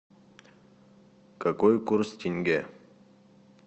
какой курс тенге